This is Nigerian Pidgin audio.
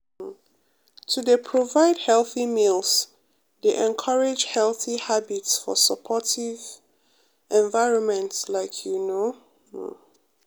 um to dey provide healthy meals dey encourage healthy habits for supportive um environments like you know um